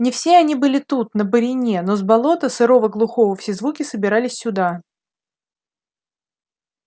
не все они были тут на борине но с болота сырого глухого все звуки собирались сюда